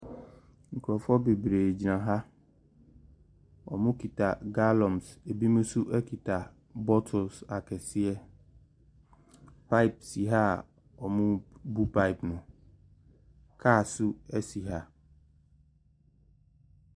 Nkorɔfoɔ bebree gyina ha. Ɔmo keta galɔns, abi mo so ɛketa bɔtils akɛseɛ. Paip si ha a ɔmo bi paip no. Kaa so asi ha.